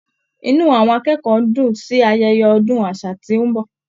Inú àwọn akẹ́kọ̀ọ́ dùn-ùn sí ayeye ọdún àṣà tí ó ń bọ̀.